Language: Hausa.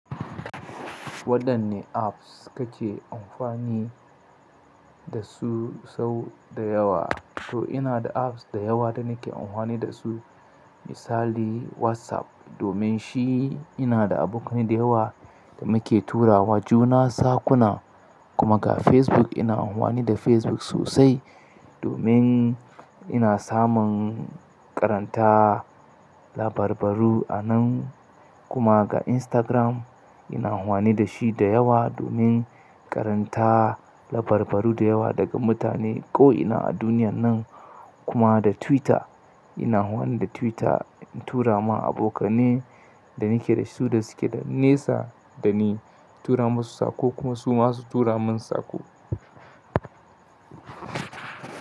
Waɗanne apps kake amfani da su sau da yawa? To ina da apps da yawa da nake amfani da su. Misali WhatsApp, domin shi ina da abokanai da yawa da muke turawa juna saƙuna. Kuma ga Facebook, ina amfani da Facebook sosai domin ina samun karanta labarbaru a nan. Karanta a Instagram, ina amfani da shi da yawa domin karanta labarbaru da yawa daga mutane ko ina a duniyan nan. Kuma da Twitter, ina amfani da Twitter in tura ma abokanai da nake da su da su ke da nisa da ni, tura masu saƙo kuma su ma su tura min saƙo.